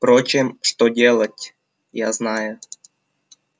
впрочем что делать я знаю